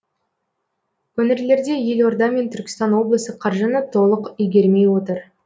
өңірлерде елорда мен түркістан облысы қаржыны толық игермей отыр